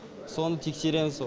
соны тексереміз